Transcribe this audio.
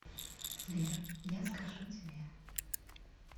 сбер я скажу тебе